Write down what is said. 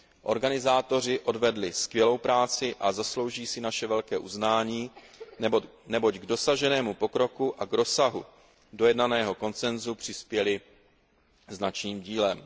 Organizátoři odvedli skvělou práci a zaslouží si naše velké uznání, neboť k dosaženému pokroku a k rozsahu dojednaného konsensu přispěly značným dílem.